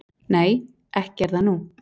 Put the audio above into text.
"""Nei, ekki er það nú."""